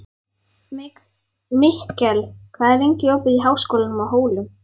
Mikkel, hvað er lengi opið í Háskólanum á Hólum?